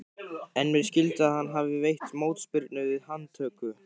En mér skilst að hann hafi veitt mótspyrnu við handtöku.